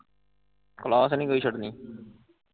Class ਨੀ ਕੋਈ ਛੱਡਣੀ।